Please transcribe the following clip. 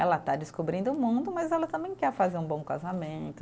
Ela está descobrindo o mundo, mas ela também quer fazer um bom casamento.